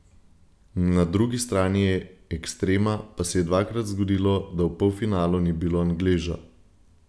Na drugi strani ekstrema pa se je dvakrat zgodilo, da v polfinalu ni bilo Angleža.